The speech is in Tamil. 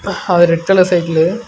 ஹா ரெட் கலர் சைக்குலு .